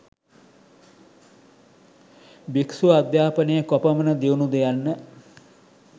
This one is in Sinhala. භික්ෂු අධ්‍යාපනය කොපමණ දියුණුද යන්න